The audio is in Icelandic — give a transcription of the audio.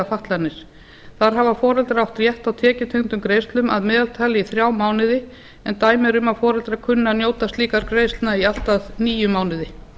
fatlanir þar hafa foreldrar átt rétt á tekjutengdum greiðslum að meðaltali í þrjá mánuði en dæmi eru um að foreldrar kunni að njóta slíkra greiðslna í allt að níu mánuði